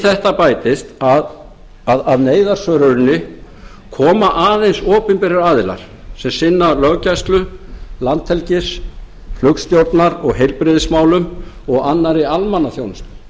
þetta bætist að neyðarsvöruninni koma aðeins opinberir aðilar sem sinna löggæslu landhelgis flugstjórnar og heilbrigðismálum og annarri almannaþjónustu